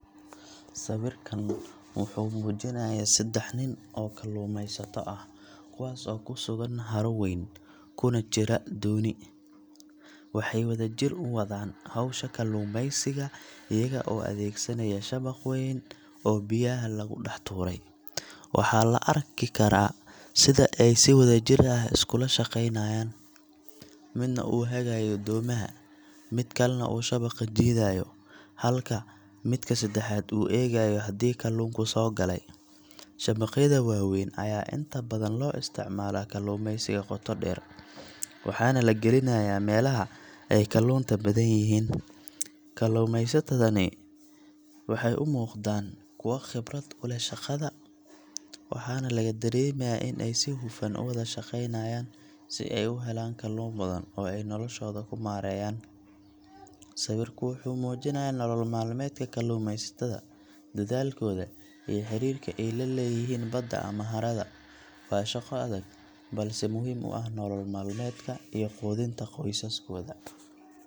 Sawirkan wuxuu muujinayaa saddex nin oo kalluumaysato ah, kuwaas oo ku sugan haro weyn, kuna jira dooni. Waxay wadajir u wadaan hawsha kalluumaysiga iyaga oo adeegsanaya shabaq weyn oo biyaha lagu dhex tuuray. Waxaa la arki karaa sida ay si wadajir ah iskula shaqeynayaan, midna uu hagayo doomaha, mid kalena uu shabaqa jiidayo, halka midka saddexaad uu eegayo haddii kalluunku soo galay. Shabaqyada waaweyn ayaa inta badan loo isticmaalaa kalluumaysiga qoto dheer, waxaana la gelinayaa meelaha ay kalluunta badan yihiin. Kalluumaysatadani waxay u muuqdaan kuwo khibrad u leh shaqada, waxaana laga dareemayaa in ay si hufan u wada shaqaynayaan si ay u helaan kalluun badan oo ay noloshooda ku maareeyaan. Sawirku wuxuu muujinayaa nolol maalmeedka kalluumaysatada, dadaalkooda iyo xiriirka ay la leeyihiin badda ama harada. Waa shaqo adag, balse muhiim u ah nolol maalmeedka iyo quudinta qoysaskooda.